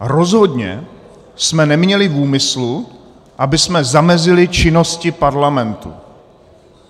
Rozhodně jsme neměli v úmyslu, abychom zamezili činnosti parlamentu.